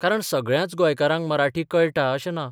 कारण सगळ्याच गोंयकारांक मराठी कळटा अशें ना.